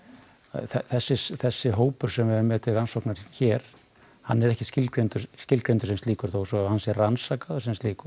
þessi þessi hópur sem við höfum til rannsóknar hér hann er ekki skilgreindur skilgreindur sem slíkur þó hann sé rannsakaður sem slíkur